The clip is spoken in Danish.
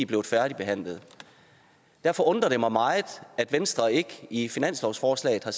blevet færdigbehandlet derfor undrer det mig meget at venstre ikke i finanslovsforslaget har